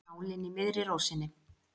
Nálin í miðri rósinni.